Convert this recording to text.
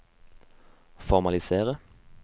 formalisere